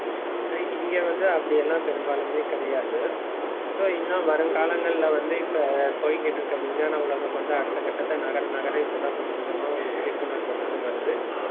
ஆஹ் இங்க வந்து, அப்படி எல்லாம் பெரும்பாலுமே கிடையாது. so இன்னும் வருங்காலங்கள்ல வந்து, இப்ப போயிக்கிட்டிருக்க, விஞ்ஞான உலகம் வந்து அடுத்த கட்டத்தை நகர நகர இப்பதான் கொஞ்சம் கொஞ்சமா ஒரு விழிப்புணர்வு வந்து வருது